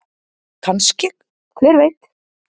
Kannske- hver veit?